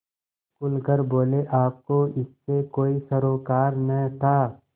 खुल कर बोलेआपको इससे कोई सरोकार न था